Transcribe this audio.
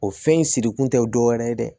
O fɛn in siri kun tɛ dɔwɛrɛ ye dɛ